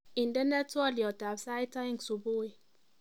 Indenee twoliotab sait aeng subui